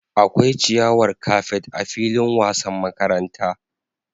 Akwai ciyawar kafet a filin wasan makaranta